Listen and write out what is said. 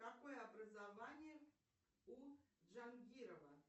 какое образование у джангирова